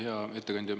Hea ettekandja!